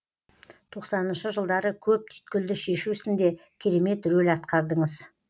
тоқсаныншы жылдары көп түйткілді шешу ісінде керемет рөл атқардыңыз